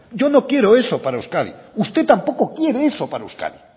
yo no quiero eso para euskadi usted tampoco quiere eso para euskadi